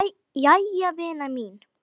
Jæja vina mín.